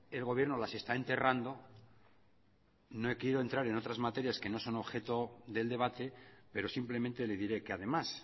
el gobierno las está enterrando no he querido entrar en otras materia que no son objeto del debate pero simplemente le diré que además